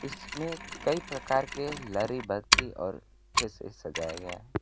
इसमें कई प्रकार के लरी बत्ती और अच्छे से सजाया गया--